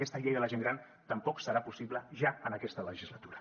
aquesta llei de la gent gran tampoc serà possible ja en aquesta legislatura